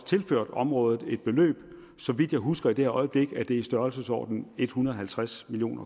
tilført området et beløb så vidt jeg husker i dette øjeblik er det i størrelsesordenen en hundrede og halvtreds million